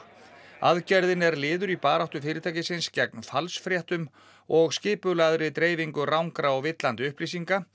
aðgerðin er liður í baráttu fyrirtækisins gegn falsfréttum og skipulagðri dreifingu rangra og villandi upplýsinga